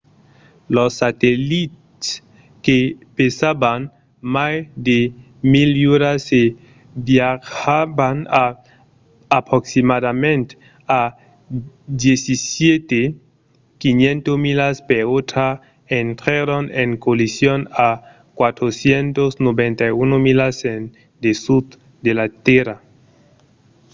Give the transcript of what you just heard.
los satellits que pesavan mai de 1 000 lluras e viatjavan a aproximativament a 17 500 milas per ora intrèron en collision a 491 milas en dessús de la tèrra